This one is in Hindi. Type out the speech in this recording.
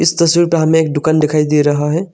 तस्वीर पर हमें एक दुकान दिखाई दे रहा है।